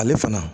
Ale fana